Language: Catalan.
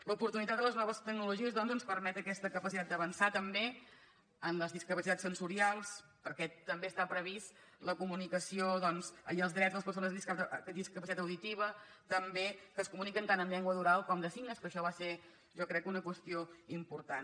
l’oportunitat de les noves tecnologies doncs ens permet aquesta capacitat d’avançar també en les discapacitats sensorials perquè també està prevista la comunicació doncs i els drets de les persones amb discapacitat auditiva que es comuniquen tant en llengua oral com de signes que això va ser jo crec una qüestió important